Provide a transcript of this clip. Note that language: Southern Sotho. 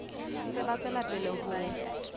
ntse ba tswela pele ho